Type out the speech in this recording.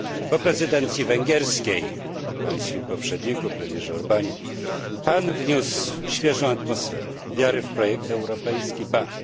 Po prezydencji węgierskiej i Pańskim poprzedniku, premierze Orbanie, Pan wniósł świeżą atmosferę, wiarę w projekt europejski ba!